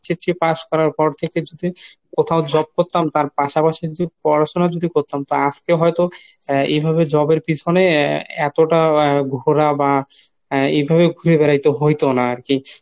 HSC pass করার পর থেকেই যদি কোথায়ও job করতাম তার পাশাপাশি যদি পড়াশুনা যদি করতাম তা আজকে হয়তো এভাবে job এর পিছনে এতটা ঘোরা বা এভাবে ঘুরে বেড়াইতে হইতো না আরকি।